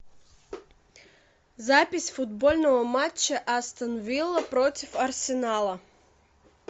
запись футбольного матча астон вилла против арсенала